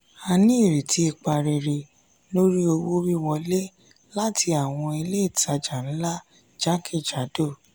a ní iretí ipa rere lórí owó wíwọlé láti àwọn ilé ìtàjà ńlá jákèjádò.